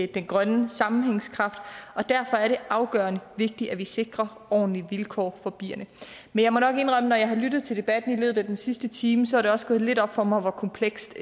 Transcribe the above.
den grønne sammenhængskraft og derfor er det afgørende vigtigt at vi sikrer ordentlige vilkår for bierne men jeg må nok indrømme at når jeg har lyttet til debatten i løbet af den sidste time så er det også gået lidt op for mig hvor komplekst